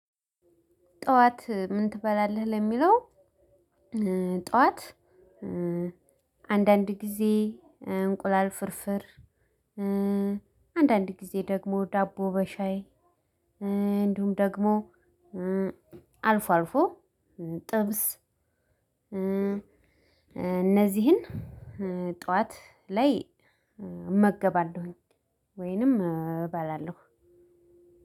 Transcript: ጠዋት ምን ትበላለህ? ለሚለው ጠዋት አንዳንድ ጊዜ እንቁላል ፍርፍር አንዳንድ ጊዜ ደግሞ ዳቦ በሻይ እንዲሁም ደግሞ አልፎ አልፎ ጥብስ እነዚህን ጠዋት ላይ እመገባለሁኝ ወይንም እባላለሁ።